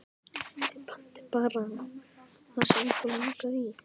Þið pantið bara það sem ykkur langar í.